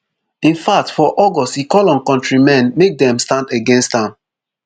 infact for august e call on kontri men make dem stand against am